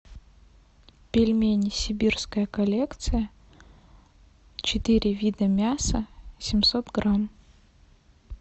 пельмени сибирская коллекция четыре вида мяса семьсот грамм